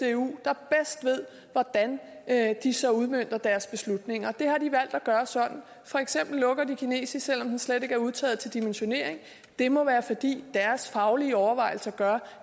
ved hvordan de så udmønter deres beslutninger og det har de valgt at gøre sådan for eksempel lukker de faget kinesisk selv om det slet ikke er udtaget til dimensionering det må være fordi deres faglige overvejelser gør